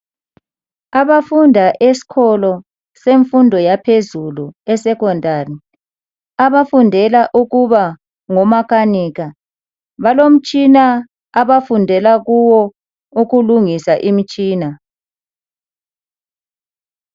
Abafunda esikolo semfundo yaphezulu esecondary. Abafundela ukuba ngomakanika. Balomtshina abafundela kuwo, ukulungisa imitshina.